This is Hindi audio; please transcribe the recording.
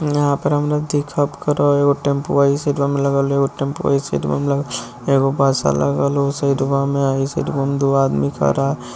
यहाँ पर हम लोग करो। एगो टेंपोआ ई साइडवा में लगल हई एगो टेम्पुआ ई साइडवा में लगल एगो बसा लागल हो उ साइडवा में अ ई साइडवा में दुगो आदमी खड़ा --